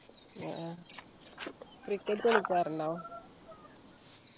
ആഹ് cricket കളിക്കാറുണ്ടോ